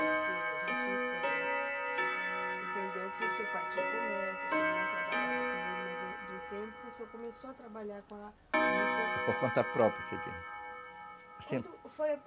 Porque a gente, eh, entendeu que o seu pai tinha um comércio, o senhor não trabalhava com ele, mas de um tempo o senhor começou a trabalhar com a juta... É por conta própria, quando